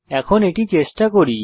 এখন এটি চেষ্টা করি